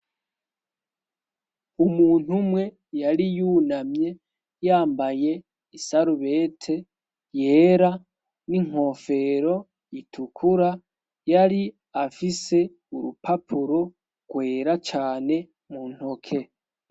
umuntu umwe yari yunamye yambaye isarubete yera n'inkofero itukura yari afise urupapuro kwera cane muntoke